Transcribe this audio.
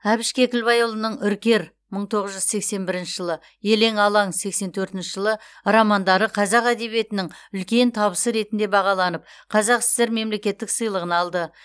әбіш кекілбайұлының үркер мың тоғыз жүз сексен бірінші жылы елең алаң сексен төртінші жылы романдары қазақ әдебиетінің үлкен табысы ретінде бағаланып қазақ сср мемлекеттік сыйлығын алды